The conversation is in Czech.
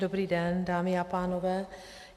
Dobrý den, dámy a pánové.